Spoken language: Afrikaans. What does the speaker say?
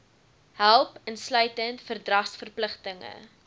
help insluitend verdragsverpligtinge